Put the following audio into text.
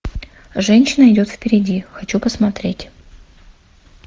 женщина идет впереди хочу посмотреть